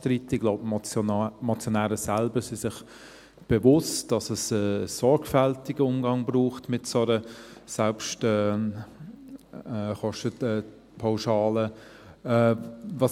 Ich glaube, die Motionäre selbst sind sich bewusst, dass es einen sorgfältigen Umgang mit einer solchen Selbstkostenpauschale braucht.